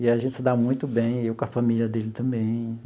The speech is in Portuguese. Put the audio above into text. E a gente se dá muito bem, eu com a família dele também.